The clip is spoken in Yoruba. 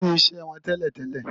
Kí ni iṣẹ́ wọn tẹ́lẹ̀ tẹ́lẹ̀?